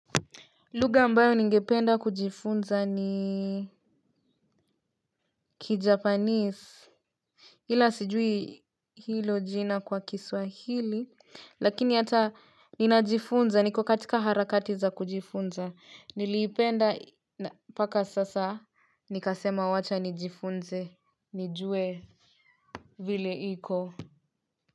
Lugha ambayo ningependa kujifunza ni kijapanese ila sijui hilo jina kwa kiswahili. Lakini hata ninajifunza niko katika harakati za kujifunza niliipenda mpaka sasa. Nikasema wachanijifunze nijue vile iko.